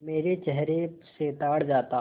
मेरे चेहरे से ताड़ जाता